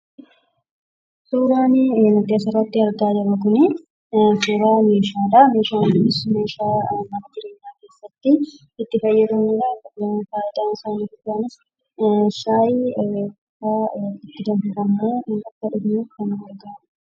Suuraan nuti asirratti argaa jirru kunii, suuraa meeshaadhaa. Meeshaan kunis meeshaa mana jireenyaa keessatti itti fayyadamnu dhaa akkasumas fayidaan isaa inni guddaan shaayii fa'aa kan itti danfifannee akka dhugnuuf kan nu gargaara.